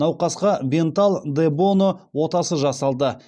науқасқа бенталл де боно отасы жасалды